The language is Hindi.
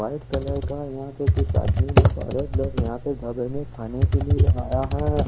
वाइट कलर का यहाँ पर कुछ आदमी खाने के लिए आया ह--